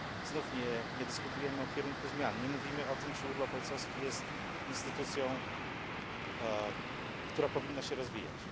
Znów nie dyskutujemy o kierunku zmian, nie mówimy o tym, czy urlop ojcowski jest instytucją, która powinna się rozwijać.